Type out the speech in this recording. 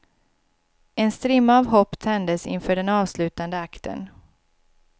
En strimma av hopp tändes inför den avslutande akten.